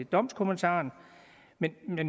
domskommentaren men med